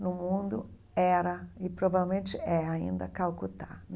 no mundo era, e provavelmente é ainda, Calcutá.